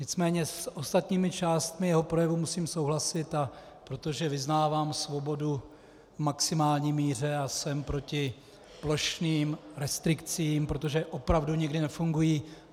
Nicméně s ostatními částmi jeho projevu musím souhlasit, protože uznávám svobodu v maximální míře a jsem proti plošným restrikcím, protože opravdu nikdy nefungují.